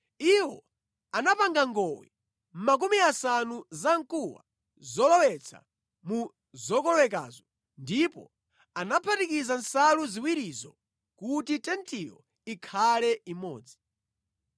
Iwo anapanga ngowe 50 zamkuwa zolowetsa mu zokolowekazo ndipo anaphatikiza nsalu ziwirizo kuti tentiyo ikhale imodzi.